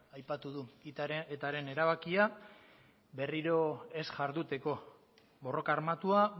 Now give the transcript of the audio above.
aipatu du etaren erabakia berriro ez jarduteko borroka armatua